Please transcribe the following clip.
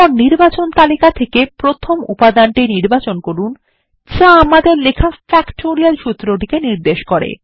তারপর নির্বাচন তালিকা থেকে প্রথম উপাদানটি নির্বাচন করুন যা আমাদর লেখা ফ্যাক্টোরিয়াল সূত্রটিকে নির্দেশ করে